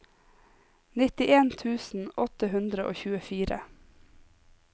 nittien tusen åtte hundre og tjuefire